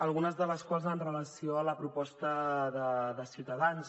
algunes de les quals amb relació a la proposta de ciutadans